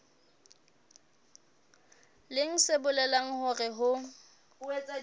leng se bolelang hore ho